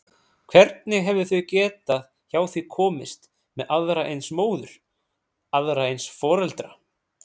Hvernig hefðu þau getað hjá því komist með aðra eins móður, aðra eins foreldra?